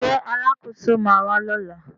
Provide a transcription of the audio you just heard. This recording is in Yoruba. Ṣé Alákóso ma wà lọ́la?